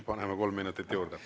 Paneme kolm minutit juurde.